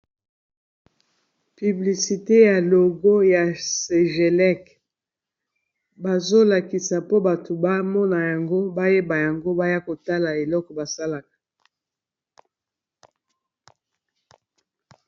Piblisite ya logo ya segelek bazolakisa mpo bato bamona yango bayeba yango baya kotala eloko basalaka.